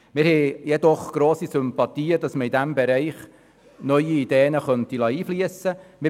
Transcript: Wir haben jedoch grosse Sympathien dafür, dass man in diesem Bereich neue Ideen einfliessen lassen könnte.